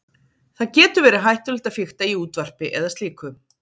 Það getur verið hættulegt að fikta í útvarpi eða slíku.